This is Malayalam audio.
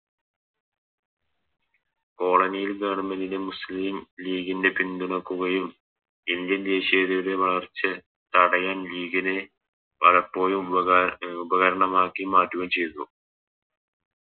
കോളനിയിൽ കാണുന്ന വിധം മുസ്ലിം ലീഗിൻറെ പിന്തുണക്കുകയും Indian ദേശീയതയുടെ വളർച്ച തടയാൻ ലീഗിനെ പലപ്പോഴും ഉപക ഉപകരണമാക്കി മാറ്റുകയും ചെയ്തു